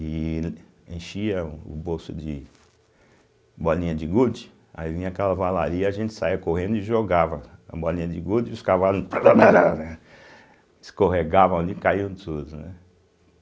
e enchia o bolso de bolinha de gude, aí vinha a cavalaria, a gente saía correndo e jogava a bolinha de gude e os cavalos prabrabra escorregavam ali e caíam tudo, né?